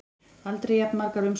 Aldrei jafn margar umsóknir